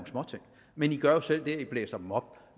men i gør jo selv det at i blæser dem op